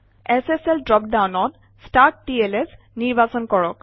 SSL drop ডাউনত ষ্টাৰ্টটলছ নিৰ্বাচন কৰক